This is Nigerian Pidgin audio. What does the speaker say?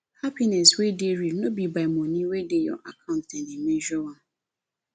happiness wey real no be by money wey dey your account dem dey measure am